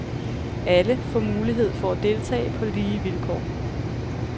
Alle får mulighed for at deltage på lige vilkår.